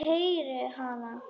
Heyri hana.